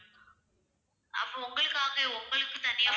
அப்போ உங்களுக்காகவே வந்து உங்களுக்கு தனியா